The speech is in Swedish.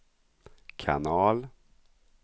kanal